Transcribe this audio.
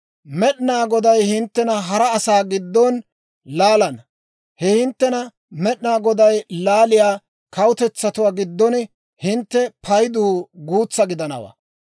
Med'ina Goday hinttena hara asaa giddon laalana; he hinttena Med'inaa Goday laaliyaa kawutetsatuwaa giddon hintte paydu guutsaa gidanawaa.